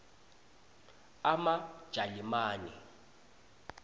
emajalimane